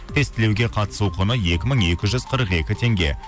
тестілеуге қатысу құны екі мың екі жүз қырық екі теңге